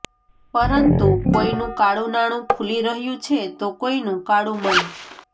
પરંતુ કોઇનું કાળુંનાણું ખૂલી રહ્યું છે તો કોઇનું કાળું મન